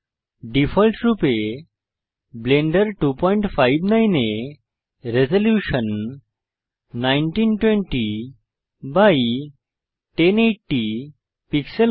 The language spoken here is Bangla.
ডিফল্টরূপে ব্লেন্ডার 259 এ রেজল্যুশন 19201080 পিক্সেল হয়